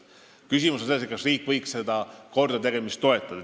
Küsimus on selles, kas riik võiks seda kordategemist toetada.